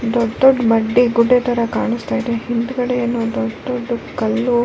ದೊಡ್ಡ್ ದೊಡ್ಡ್ ಬಂಡಿ ಗುಡ್ಡೆ ತರಹ ಕಾಣಿಸ್ತ ಇದೆ ಹಿಂದ್ಗಡೆ ಏನೋ ದೊಡ್ಡದು ಕಲ್ಲು.